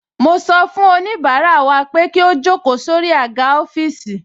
Mo sọ fún oníbàárà wa pé kí ó jókòó sórí àga ọ́fíìsì